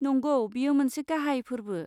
नंगौ, बेयो मोनसे गाहाय फोर्बो।